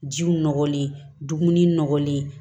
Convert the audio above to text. Jiw nɔgɔlen duguni nɔgɔlen